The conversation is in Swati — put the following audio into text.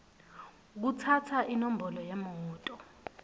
kutsatsa inombolo yemoto